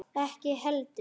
Ekki heldur